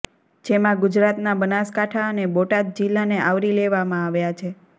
જેમાં ગુજરાતના બનાસકાંઠા અને બોટાદ જિલ્લાને આવરી લેવામાં આવ્યા છે